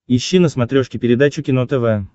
ищи на смотрешке передачу кино тв